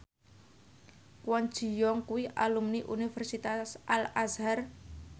Kwon Ji Yong kuwi alumni Universitas Al Azhar